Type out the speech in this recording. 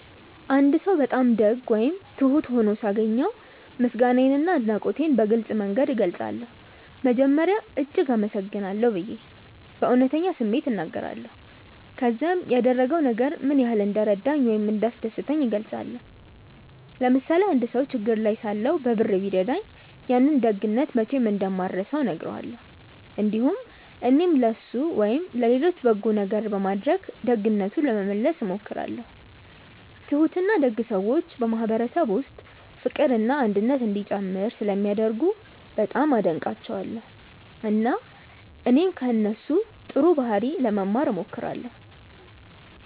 አንድ ሰው በጣም ደግ ወይም ትሁት ሆኖ ሳገኘው ምስጋናዬንና አድናቆቴን በግልጽ መንገድ እገልጻለሁ። መጀመሪያ “እጅግ አመሰግናለሁ” ብዬ በእውነተኛ ስሜት እናገራለሁ፣ ከዚያም ያደረገው ነገር ምን ያህል እንደረዳኝ ወይም እንዳስደሰተኝ እገልጻለሁ። ለምሳሌ አንድ ሰው ችግር ላይ ሳለሁ በብር ቢረዳኝ፣ ያንን ደግነት መቼም እንደማልረሳው እነግረዋለሁ። እንዲሁም እኔም ለእሱ ወይም ለሌሎች በጎ ነገር በማድረግ ደግነቱን ለመመለስ እሞክራለሁ። ትሁትና ደግ ሰዎች በማህበረሰብ ውስጥ ፍቅርና አንድነት እንዲጨምር ስለሚያደርጉ በጣም አደንቃቸዋለሁ፣ እና እኔም ከእነሱ ጥሩ ባህሪ ለመማር እሞክራለሁ።